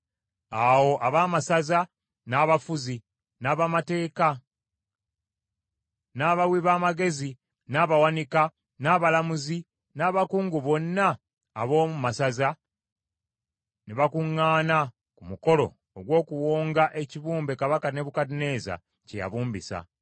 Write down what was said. Awo abaamasaza, n’abafuzi, n’abamateeka, n’abawi b’amagezi n’abawanika, n’abalamuzi, n’abakungu bonna ab’omu masaza, ne bakuŋŋaana ku mukolo ogw’okuwonga ekibumbe Kabaka Nebukadduneeza kye yabumbisa.